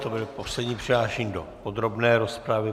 To byl poslední přihlášený do podrobné rozpravy.